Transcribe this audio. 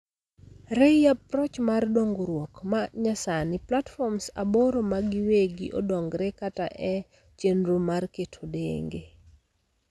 Rei approch mar dongruok ma nyasani, platforms aboro magiwegi odongore kata en e chendro mar keto tenge